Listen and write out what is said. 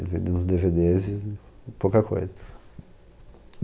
Eles vendem uns de ve des e pouca coisa.